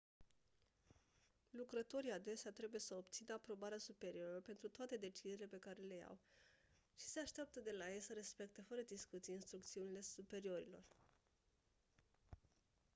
lucrătorii adesea trebuie să obțină aprobarea superiorilor pentru toate deciziile pe care le iau și se așteaptă de la ei să respecte fără discuții instrucțiunile superiorilor